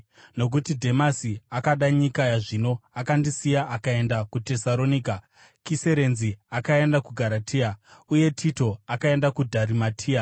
nokuti Dhemasi akada nyika yazvino, akandisiya akaenda kuTesaronika. Kiresenzi akaenda kuGaratia, uye Tito akaenda kuDharimatia.